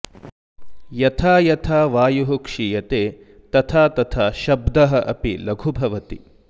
यथा यथा वायुः क्षीयते तथा त्तथा शब्दः अपि लघु भवति